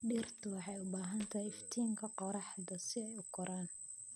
Dhirtu waxay u baahan tahay iftiinka qorraxda si ay u koraan.